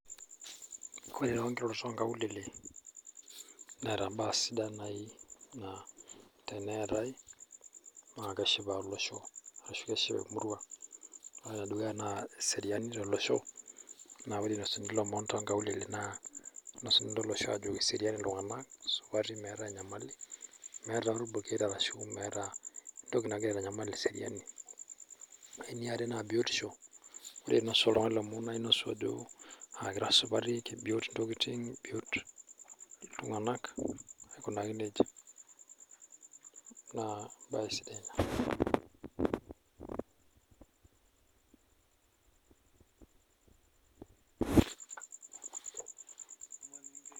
Ore too nkirorot ok nkaulele, neeta baa sidan naaji naa teneetae naa keshipa olosho ashu keshipa orusa. ore ene dukuya naa eseriani tolosho. naa ore inosuni imomon too nkaulele naa kinosini tolosho ajo keserian iltunganak, isupati meeta enyamali, meeta ilbuketa ashu meeta entoki nagira aitanyamal eseriani. ore eniare naa, biotisho. ore inosu oltungani ilomon naa inosu ajo, kira supati kibiot ntokitin, kibiot iltunganak, aikunaki nejia. naa ebae sidai Ina.